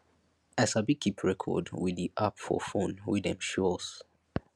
i sabi keep record wit di app for phone wey dem show us